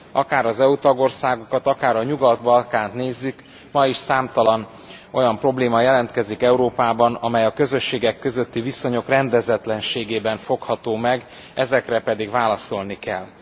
Akár az EU tagországokat, akár a Nyugat Balkánt nézzük, ma is számtalan olyan probléma jelentkezik Európában, amely a közösségek közötti viszonyok rendezetlenségében fogható meg, ezekre pedig az európai intézményeknek válaszolni kell.